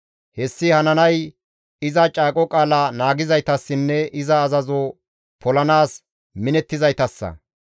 Hessi hananay iza caaqo qaala naagizaytassinne iza azazo polanaas minettizaytassa.